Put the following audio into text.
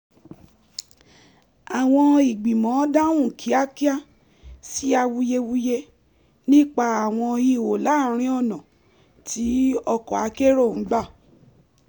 àwọn ìgbìmọ̀ dáhùn kíákíá sí awuyewuye nípa àwọn ihò láàrin ọ̀nà tí ọkọ̀ akérò ń gba